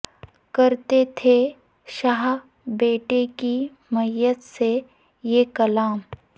کرتے تھے شاہ بیٹے کی میت سے یہ کلام